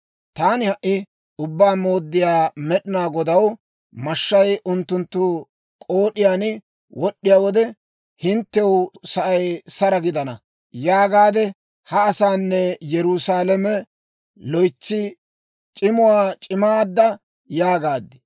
Taani, «Ha"i Ubbaa Mooddiyaa Med'inaa Godaw, mashshay unttunttu k'ood'iyaan wod'd'iyaa wode, ‹Hinttew sa'ay saro gidana› yaagaade, ha asaanne Yerusaalame loytsi c'imuwaa c'immaada» yaagaad.